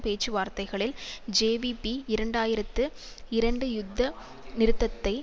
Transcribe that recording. பேச்சுவார்த்தைகளில் ஜேவிபி இரண்டாயிரத்து இரண்டு யுத்த நிறுத்தத்தை